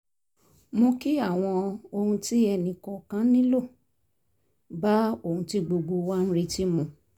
mú kí àwọn ohun tí ẹnì kọ̀ọ̀kan nílò bá ohun tí gbogbo wa ń retí mu